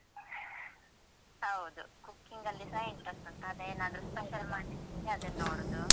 ಹೌದು cooking ಅಲ್ಲಿಸ interest ಉಂಟು ಅದೇ ಏನಾದ್ರೂ special ಮಾಡ್ಲಿಕ್ಕಿದ್ರೆ ಅದನ್ನು ನೋಡುದು.